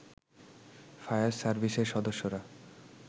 fire সার্ভিসের সদস্যরা